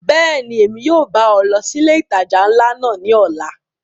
Bẹ́ẹ̀ni, Emi yóò ba ọ lọ si ile itaja nla náa ni ọla.